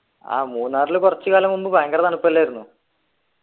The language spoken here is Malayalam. ആഹ് മൂന്നാറില് കുറച്ചു കാലം മുമ്പ് ഭയങ്കര തണുപ്പല്ലായിരുന്നു